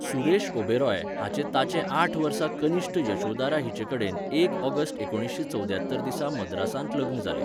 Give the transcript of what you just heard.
सुरेश ओबेराय हाचें ताचे आठ वर्सां कनिश्ट यशोदारा हिचेकडेन एक ऑगस्ट एकुणशे चौद्यात्तर दिसा मद्रासांत लग्न जालें.